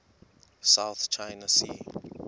south china sea